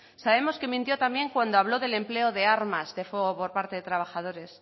sabemos que mintió también cuando habló del empleo de armas de fuego por parte de trabajadores